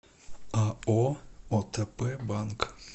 ао отп банк